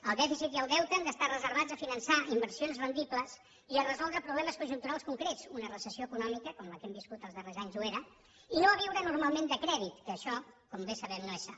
el dèficit i el deute han d’estar reservats a finançar inversions rendibles i a resoldre problemes conjunturals concrets una recessió econòmica com la que hem viscut els darrers anys ho era i no a viure normalment de crèdit que això com bé sabem no és sa